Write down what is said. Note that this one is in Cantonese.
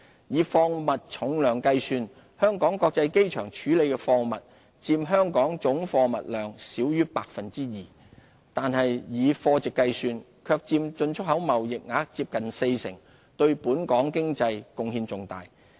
以貨物重量計算，香港國際機場處理的貨物佔香港總貨物量少於 2%， 但以貨值計算，卻佔進出口貿易額接近四成，對本港經濟貢獻重大。